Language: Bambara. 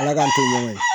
Ala k'an to ɲɔgɔn ye